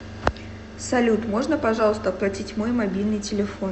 салют можно пожалуйста оплатить мой мобильный телефон